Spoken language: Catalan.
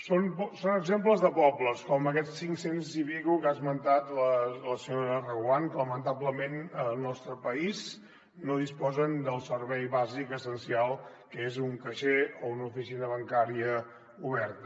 són exemples de pobles com aquests cinc cents i escaig que ha esmentat la senyora reguant que lamentablement al nostre país no disposen del servei bàsic essencial que és un caixer o una oficina bancària oberta